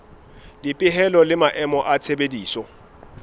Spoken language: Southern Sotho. dipehelo le maemo a tshebediso